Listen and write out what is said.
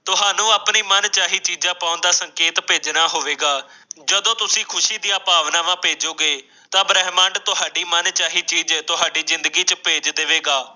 ਤੁਹਾਨੂੰ ਆਪਣੀ ਮਨਚਾਹੀ ਚੀਜ਼ ਪਾਉਣ ਦਾ ਸੰਕੇਤ ਫੈਸਲਾ ਹੋਵੇਗਾ ਜਦੋਂ ਤੁਸੀਂ ਖ਼ੁਸ਼ੀ ਦੀ ਭਾਵਨਾਵਾਂ ਭੇਜੋਗੇ ਤਾਂ ਬ੍ਰਹਿਮੰਡ ਤੁਹਾਡੀ ਮਨਚਾਹੀ ਚੀਜ਼ ਤੁਹਾਡੀ ਜ਼ਿੰਦਗੀ ਵਿੱਚ ਭੇਜ ਦੇਵੇਗ